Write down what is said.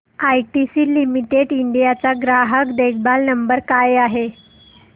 ITC limited India चा ग्राहक देखभाल नंबर काय आहे